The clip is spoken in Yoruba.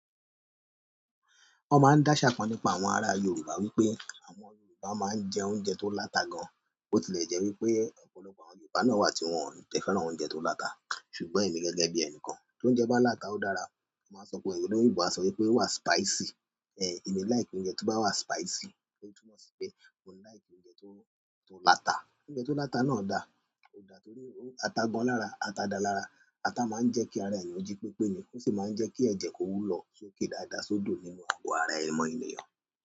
Wọ́n máa ń dáṣà kán nípa àwọn ará Yorùbá wípé àwọn Yorùbá máa ń jẹ oúnjẹ tó láta gan-an. Bo ti lè jẹ́ wípé ọ̀pọ̀lọpọ̀ àwọn Yorùbá náà wà tí wón jẹ́ fẹ́ràn oúnjẹ tó láta. Ṣùgbọ́n èmi gẹ́gẹ́ bí ẹnìkan, tóúnjẹ bá láta, ó dára. Wọ́n máa ń sọ pé ènìyàn Yorùbá á sọ wípé ó wà spicy. Eh, èmi like oúnjẹ tó bá wà spicy, èyí túmọ̀ sí pé mò ń like oúnjẹ tó, tó láta. Oúnjẹ tó láta náà da, ó da torí ó ata gan lára, ata da lára. Ata máa ń jẹ́ kí ara ènìyàn jí pípé ni, ó sì máa ń jẹ́ kí ẹ̀jẹ̀ kó wúlò sókè dáadáa sódò nínú ọgbọ́n ara èèmọ̀ ènìyàn.